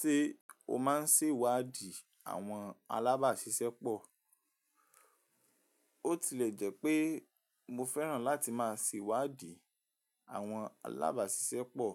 Ṣé o máa ń ṣèwádìí àwọn alábàáṣiṣẹ́ pọ̀? Ó tilẹ̀ jẹ́ pé mo fẹ́ràn láti máa ṣèwádìí àwọn alábàáṣiṣẹ́ pọ̀,